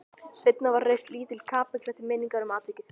Seinna var reist lítil kapella til minningar um atvikið.